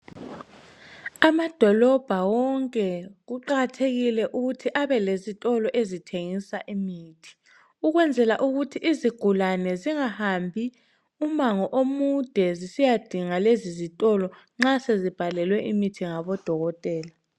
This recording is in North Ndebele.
Amadolobho wonke kuqakathekile ukuthi abelezitolo ezithengisa imithi ukwenzela ukuthi izigulane zingahambi umango omude zisiya dinga lezi zitolo nxa sezibhalelwe imithi ngabodokotela.